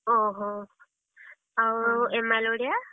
ଓହୋ ଆଉ, MIL ଓଡିଆ?